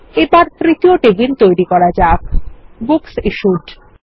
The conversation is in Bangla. এবার তৃতীয় টেবিল তৈরি করা যাক বুকস ইশ্যুড